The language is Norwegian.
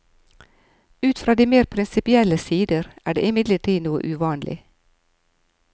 Ut fra de mer prinsipielle sider er det imidlertid noe uvanlig.